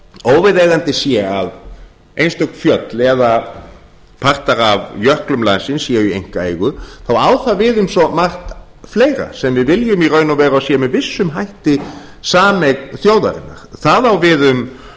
óviðeigandi sé að einstök fjöll eða partar af jöklum landsins séu í einkaeigu þá á það við um svo margt fleira sem við viljum í raun og veru að sé með vissum hætti sameign þjóðarinnar það á við